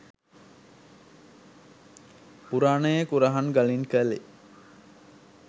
පුරාණයේ කුරහන් ගලින් කළේ